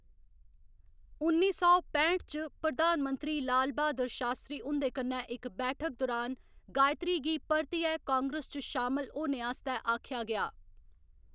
उन्नी सौ पैंठ च, प्रधान मंत्री लाल बहादुर शास्त्री हुं'दे कन्नै इक बैठक दुरान, गायत्री गी परतियै कांग्रेस च शामल होने आस्तै आखेआ गेआ।